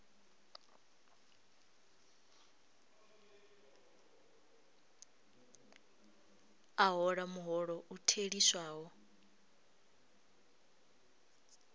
a hola muholo u theliswaho